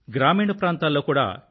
గ్రామీణ ప్రాంతాల్లో కూడా ఎ